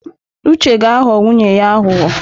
Uche ga-aghọ nwunye ya aghụghọ.